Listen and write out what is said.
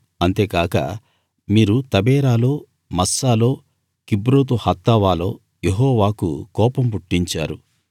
అంతేగాక మీరు తబేరాలో మస్సాలో కిబ్రోతు హత్తావాలో యెహోవాకు కోపం పుట్టించారు